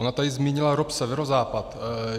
Ona tu zmínila ROP Severozápad.